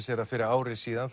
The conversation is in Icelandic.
sér að fyrir ári síðan